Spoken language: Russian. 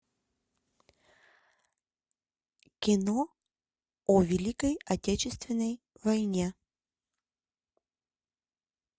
кино о великой отечественной войне